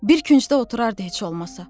Bir küncdə oturardı heç olmasa.